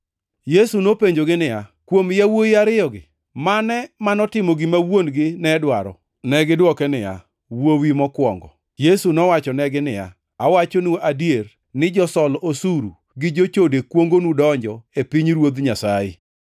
Yesu nopenjogi niya, “Kuom yawuowi ariyogi, mane manotimo gima wuon-gi ne dwaro?” Negidwoke niya, “Wuowi mokwongo.” Yesu nowachonegi niya, “Awachonu adier ni josol osuru gi jochode kuongonu donjo e pinyruodh Nyasaye.